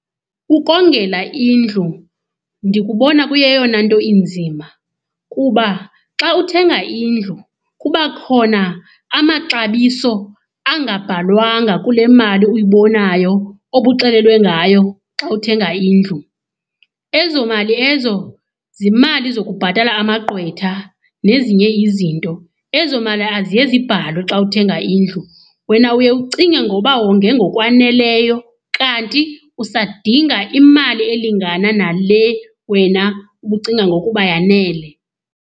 Ukongela indlu ndikubona kuyeyona nto inzima kuba xa uthenga indlu, kuba khona amaxabiso angabhalwanga kule mali uyibonayo obuxelelwe ngayo xa uthenga indlu. Ezo mali ezo zimali zokubhatala amagqwetha nezinye izinto, ezo mali aziye zibhalwe xa uthenga indlu. Wena uye ucinge ngoba wonge ngokwaneleyo kanti usadinga imali elingana nale wena ubucinga ngokuba yanele.